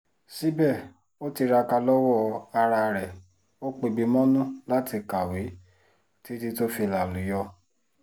síbẹ̀ ó tiraka lowó ara ẹ̀ ó pẹ̀bi mọ́nú láti kàwé títí tó fi lálùyọ̀